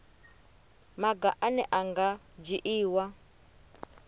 maga ane a nga dzhiiwa